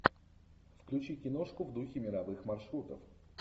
включи киношку в духе мировых маршрутов